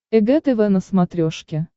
эг тв на смотрешке